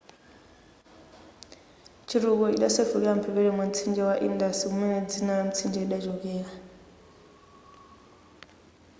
chitukuko chidasefukira mphepete mwa mtsinje wa indus kumene dzina la mtsinjeli lidachoka